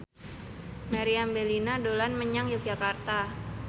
Meriam Bellina dolan menyang Yogyakarta